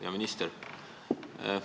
Hea minister!